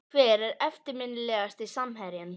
Hver er eftirminnilegasti samherjinn?